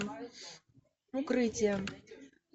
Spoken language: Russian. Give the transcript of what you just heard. укрытие